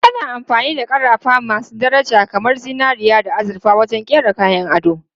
Ana amfani da ƙarafa masu daraja kamar zinariya da azurfa wajen kera kayan ado.